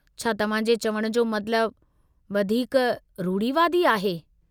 छा तव्हां जे चवण जो मतिलबु, वधीक रूढ़िवादी आहे?